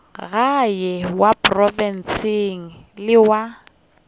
gae wa profense le wa